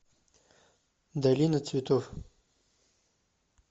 долина цветов